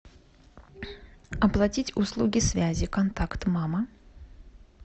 оплатить услуги связи контакт мама